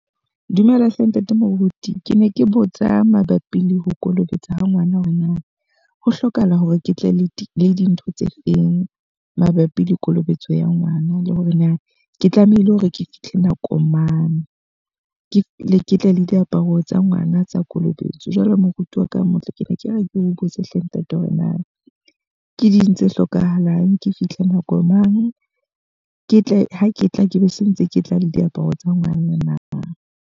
Dumela hle ntate Moruti. Ke ne ke botsa mabapi le ho kolobetsa ha ngwana hore na ho hlokahala hore ke tle le le dintho tse feng? Mabapi le kolobetso ya ngwana. Le hore na ke tlamehile hore ke fihle nako mang? Ke ne ke tle le diaparo tsa ngwana tsa kolobetso. Jwale moruti wa ka motle, ke ne ke re ke o botse hle ntate hore na ke ding tse hlokahalang? Ke fihle nako mang? Ke tle ke tla be se ntse ke tla le diaparo tsa ngwana na?